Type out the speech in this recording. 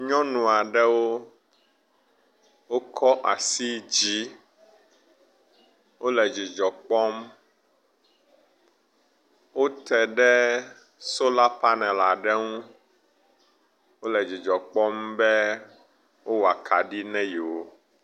Nyɔnu aɖewo wokɔ asi dzi, wole dzidzɔ kpɔm wote ɖe sola panel aɖe ŋu, wole dzidzɔ kpɔm be wowɔ akaɖi ne yewo